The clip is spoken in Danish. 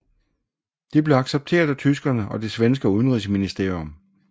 De blev accepteret af tyskerne og det svenske udenrigsministerium